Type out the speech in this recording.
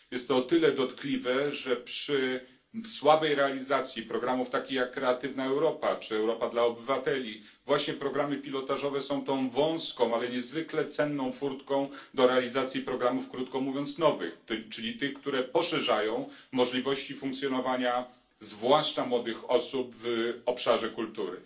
Jest to o tyle dotkliwe, że, przy słabej realizacji programów takich, jak Kreatywna Europa czy Europa dla Obywateli, właśnie programy pilotażowe są tą wąską, ale niezwykle cenną furtką do realizacji programów krótko mówiąc nowych, czyli tych, które poszerzają możliwości funkcjonowania zwłaszcza młodych osób w obszarze kultury.